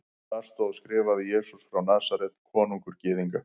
Þar stóð skrifað: Jesús frá Nasaret, konungur Gyðinga.